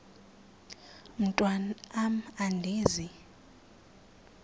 mntwan am andizi